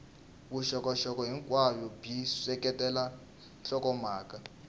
vuxokoxoko hinkwabyo byi seketela nhlokomhaka